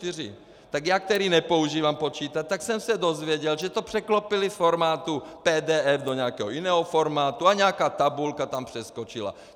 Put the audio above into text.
Tak já, který nepoužívám počítač, tak jsem se dozvěděl, že to překlopili z formátu PDF do nějakého jiného formátu a nějaká tabulka tam přeskočila.